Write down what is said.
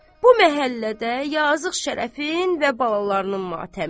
Bu məhəllədə yazıq Şərəfin və balalarının matəmi.